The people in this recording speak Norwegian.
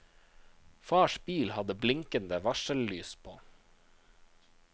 Fars bil hadde blinkende varsellys på.